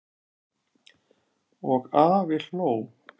Og afi hló.